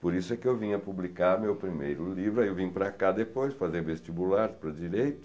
Por isso é que eu vim a publicar meu primeiro livro, aí eu vim para cá depois, fazer vestibular para direito.